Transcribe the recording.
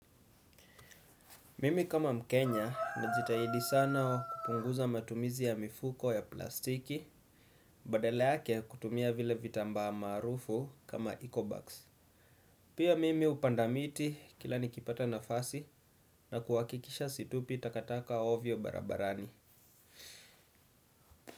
Mimi kama mkenya najitahidi sana kupunguza matumizi ya mifuko ya plastiki. Badala yake kutumia vile vitamba maarufu kama ecobax. Pia mimi hupanda miti kila nikipata nafasi na kuhakikisha situpi takataka ovyo barabarani.